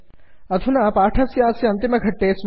इदानीं वयं पाठस्यास्य अन्तिमघट्टे स्मः